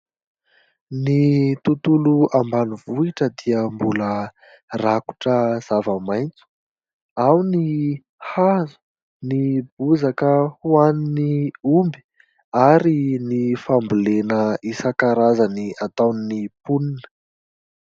Ny tobtolo ambanivohitra dia mbola rakotra zava-maitso. Ao ny hazo, ny bozaka hoanin'ny omby, ary ny fambolena isankarazany ataon'ny mponina.